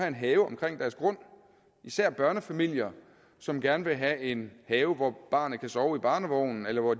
en have omkring deres grund især børnefamilier som gerne vil have en have hvor barnet kan sove i barnevogn eller hvor